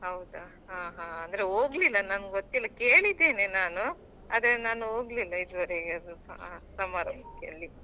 ಹೌದಾ ಹಾ ಹಾ ಅಂದ್ರೆ ಹೋಗ್ಲಿಲ್ಲ ನಂಗ್ ಗೊತ್ತಿಲ್ಲ ಕೇಳಿದ್ದೇನೆ ನಾನು ಆದ್ರೆ ನಾನು ಹೋಗ್ಲಿಲ್ಲ ಇದುವರೆಗೆ ಅದು ಆ ಸಮಾರಂಭಕ್ಕೆ ಅಲ್ಲಿ.